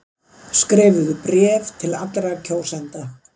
Skrifuðu bréf til allra kjósenda.